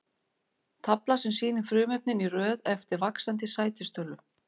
Tafla sem sýnir frumefnin í röð eftir vaxandi sætistölu.